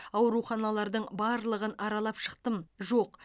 ауруханалардың барлығын аралап шықтым жоқ